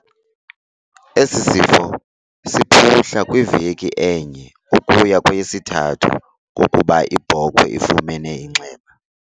Esi sifo siphuhla kwiveki e-1 ukuya kweyesi-3 kokuba ibhokhwe ifumene inxeba.